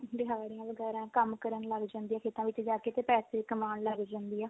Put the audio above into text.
ਦਿਹਾੜੀਆਂ ਵਗੈਰਾ ਕੰਮ ਕਰਨ ਲੱਗ ਜਾਂਦੀ ਆ ਖੇਤਾਂ ਵਿੱਚ ਜਾ ਕੇ ਤੇ ਪੈਸੇ ਕਮਾਉਣ ਲੱਗ ਜਾਂਦੀ ਆ